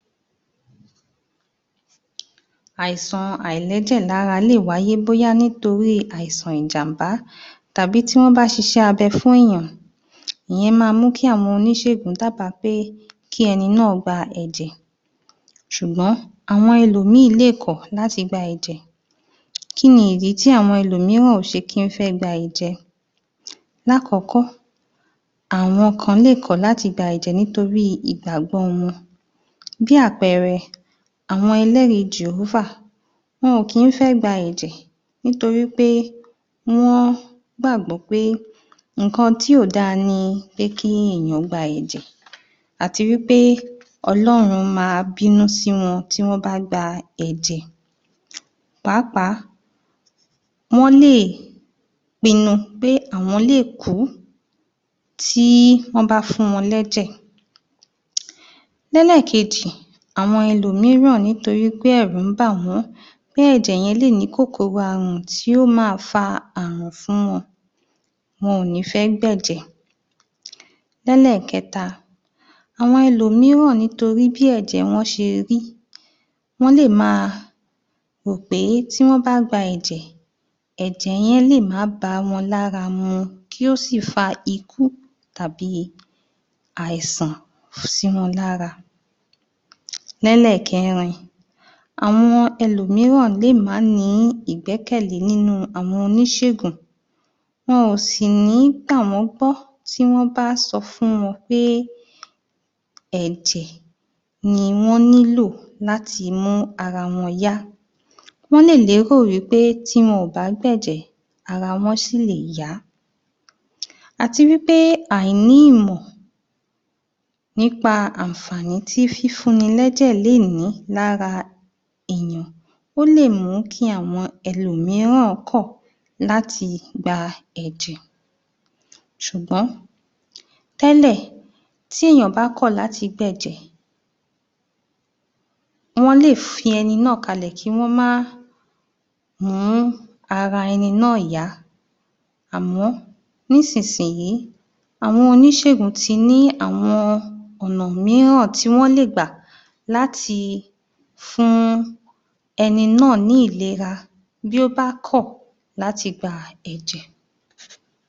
Àìsàn àìlẹ́jẹ̀ lárá lè wáyé bóyá nítorí àìsàn ìjam̀bá tàbí tí wọ́n bá ṣiṣẹ́ abẹ fún èèyàn, ìyẹn máa ń mú kí àwọn oníṣègùn dábà pé kí ẹni náà gba ẹ̀jẹ̀ ṣùgbọ́n àwọn ẹlòmí-ìn lè kọ̀ láti gba ẹ̀jẹ̀. Kí ni ìdí tí àwọn ẹlòmíràn ò kí ń fẹ́ gba ẹ̀jẹ̀? Lákọ́kọ́, àwọn kan lè kọ̀ láti gba ẹ̀jẹ̀ nítorí ìgbàgbọ wọn, bí àpẹẹrẹ, àwọn ẹlẹ́rìí Jèhófà, wọn ò kí ń fẹ́ gba ẹ̀jẹ̀, nítorí wí pé wọ́n gbàgbọ́ pé nǹkan tí ò da ni pé kí èyàn gba ẹ̀jẹ̀ àti wí pé Ọlọ́run ma bínú sí wọn tí wọ́n bá gba ẹ̀jẹ̀ pàápàá, wọ́n lè pinu pé àwọ́n lè kú tí wọ́n má fún wọn lẹ́jẹ̀. Lẹ́lẹ̀kejì, àwọn ẹlòmíràn nítorí pé ẹ̀rù ń bà wọ́n pé ẹ̀jẹ̀ yẹn lè ní kòkòrò àrùn tí ó ma fa àrùn fún wọn, wọn ò ní fẹ́ gbẹ̀jẹ̀. Lẹ́lẹ̀kẹta, àwọn ẹlòmíràn nítorí bí ẹ̀jẹ̀ wọn ṣe rí, wọ́n lè ma rò pé tí wọ́n bá gba ẹ̀jẹ̀, ẹ̀jẹ̀ yẹn lè má báwọn lára mu, tí ó sị̀ fa ikú tàbí àìsàn sí wọn lára. Lẹ́lẹ̀kẹrin, àwọn ẹlòmíràn lè má ní ìgbẹ́kẹ̀le nínú àwọn oníṣègùn, wọ́n wọ́n lè lérò wí pé tí wọn ò bá gbẹ̀jẹ̀ ara wọn ṣì lè yá, àti wì pè àìní ìmọ̀ nípa àǹfàní tí fífúni lẹ̀jẹ̀ lè ní lára èyàn ó lè mú kí àwọn ẹlòmíràn kọ̀ láti gba ẹ̀jẹ̀ ṣùgbọ́n tẹ́lẹ̀, tí èyàn bá kọ̀ láti gbẹ̀jẹ wọ́n lè fi ẹni náà kalẹ̀, kí wọ́n má mú ara ẹni náà yá àmọ́ ní sìsì yí, àwọn oníṣègùn ti ní àwọn ọ̀nà míràn tí wọ́n lè gbà láti fún ẹni náà ní ìlera bí ó bá kọ̀ láti gba ẹ̀jẹ̀.